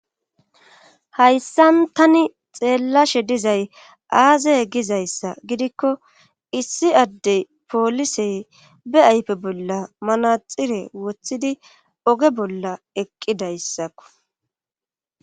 hayssan tani xeellashe dizay aazey gizayssa gidikko issi addey poolisey be ayfe bolla manaxire wothidi oge bolla eqqidayssakko